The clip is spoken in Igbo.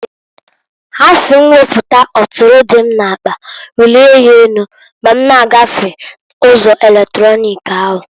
Ha si m weputa ọtụrụ dị m n'akpa welie ya enu ma m na-gafe ụzọ eletronik ahu.